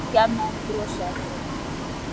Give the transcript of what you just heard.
Tóti gat ekki annað en brosað.